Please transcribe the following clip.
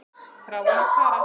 Þráinn og Kara.